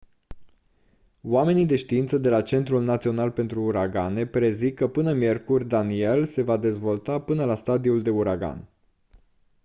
oamenii de știință de la centrul național pentru uragane prezic că până miercuri danielle se va dezvolta până la stadiul de uragan